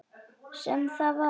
Sem það var.